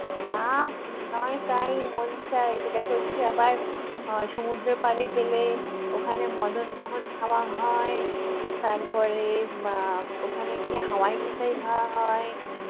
যা নয় তাই মন চায় সেটা করছি আবার আহ সমুদ্রের পাড়ে গেলে ওখানে মদনমোহন খাওয়া হয় তারপরে আহ ওখানে গিয়ে হাওয়ায় মিঠাই খাওয়া হয়,